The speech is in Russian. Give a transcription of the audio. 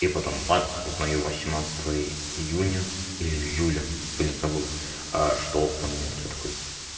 и потом бац узнаю восемнадцатого июня или июля блин забыл что он мерт я такой